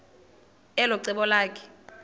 elo cebo lakhe